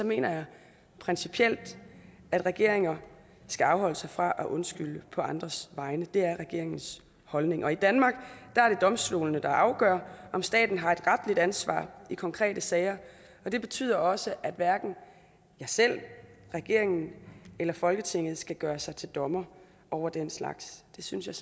mener jeg principielt at regeringer skal afholde sig fra at undskylde på andres vegne det er regeringens holdning i danmark er det domstolene der afgør om staten har et retligt ansvar i konkrete sager og det betyder også at hverken jeg selv regeringen eller folketinget skal gøre sig til dommere over den slags det synes jeg